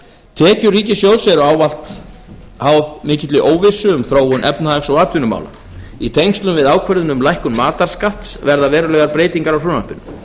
tekjur ríkissjóðs eru ávallt háðar mikilli óvissu um þróun efnahags og atvinnumála í tengslum við ákvörðun um lækkun matarskatts verða verulegar breytingar á frumvarpinu